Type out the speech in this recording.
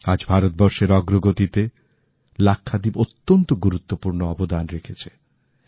আজ ভারতবর্ষের অগ্রগতিতে লাক্ষাদ্বীপ অত্যন্ত গুরুত্বপূর্ণ অবদান করছে